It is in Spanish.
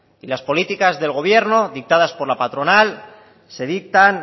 y las políticas del gobierno dictadas por la patronal se dictan